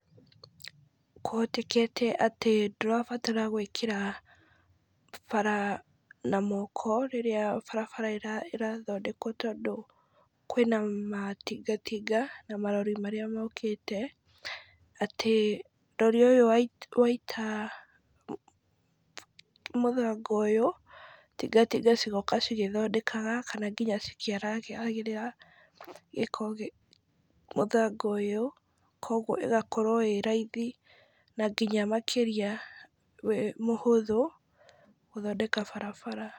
Kũhotekete atĩ ndurabatara gwĩkĩra bara na mwoko rĩrĩa barabara ĩrathondekwo, tondũ kwĩna matingatinga na marori marĩa mokĩte , atĩ rori ĩyo yaita mũthanga ũyũ, tingatinga cigoka cigĩthondekaga, kana nginya cikĩharagĩrĩra gĩko mũthanga ũyũ, kũgwo ĩgakorwo ĩrathi, na nginya makĩrĩa mũhũthũ gũthondeka barabara.